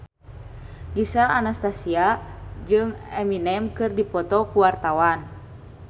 Gisel Anastasia jeung Eminem keur dipoto ku wartawan